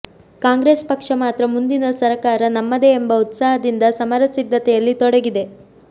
ಕಾಂಗ್ರೆಸ್ ಪಕ್ಷ ಮಾತ್ರ ಮುಂದಿನ ಸರಕಾರ ನಮ್ಮದೆ ಎಂಬ ಉತ್ಸಾಹದಿಂದ ಸಮರ ಸಿದ್ಧತೆಯಲ್ಲಿ ತೊಡಗಿದೆ